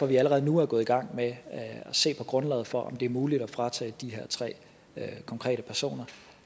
vi allerede nu er gået i gang med at se på grundlaget for om det er muligt at fratage de her tre konkrete personer